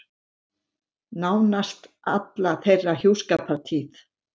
Nánast alla þeirra hjúskapartíð.